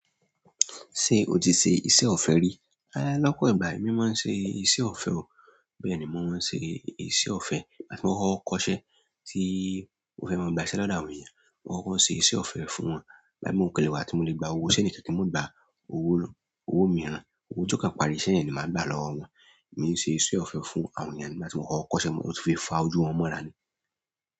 Ṣé o ti ṣe iṣẹ́ ọ̀fẹ́ rí? Lọ́pọ̀ ìgbà emi maa n se iṣẹ́ ọ̀fẹ́ o. Bẹ́ẹ̀ ni, mo máa ń ṣe iṣẹ́ ọ̀fẹ́ ìgbà ti mo koko kọ́ṣẹ́ tí mo fẹ́ máa gba iṣẹ́ lọ́dọ̀ àwọn ènìyàn, mo koko se iṣẹ́ ọ̀fẹ́ fún wọn. Ìgbà mii mo kan le wá tí mo lè gba owó iṣẹ́ nìkan ki n mo gba owo owó mìíràn, owó tí ó kàn parí iṣẹ́ yen ni màá gba lọ́wọ́ wọn. Èmi ń ṣe iṣẹ́ ọ̀fẹ́ fún àwọn èeyàn nígbà tí mo kọ́kọ́ koṣe, mo sì fi fa ojú wọn mọ́ra ni.